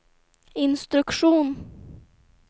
instruktion